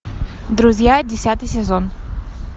друзья десятый сезон